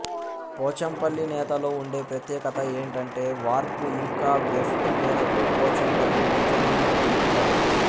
పోచంపల్లి నేతలో ఉండే ప్రత్యేకత ఏంటంటే వార్ప్ ఇంకా వెఫ్ట్ మీదకు పోచంపల్లి డిజైన్ను దింపుతారు